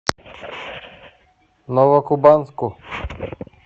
новокубанску